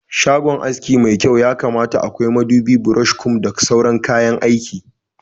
Shagon aski mai kyau yakamata akwai madubi, brosh, kum da sauran kayan aiki